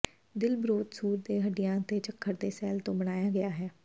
ਦਿਲ ਬਰੋਥ ਸੂਰ ਦੇ ਹੱਡੀਆਂ ਅਤੇ ਝੱਖੜ ਦੇ ਸ਼ੈੱਲਾਂ ਤੋਂ ਬਣਾਇਆ ਗਿਆ ਹੈ